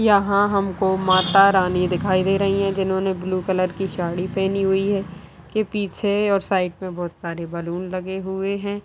यहाँ हम को माता रानी दिखाई दे रही है जिन्होंने ब्लू कलर की साड़ी पेहनी हुई है उनके पीछे और साइड में बहुत सारे बैलून लगे हुए हैं।